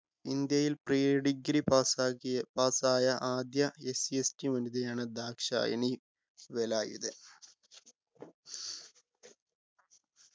ഇന്ത്യയിൽ pre degree pass ആക്കിയ pass ആയ ആദ്യ SCST വനിതയാണ് ദാക്ഷായണി വേലായുധൻ